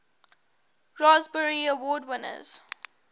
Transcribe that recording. raspberry award winners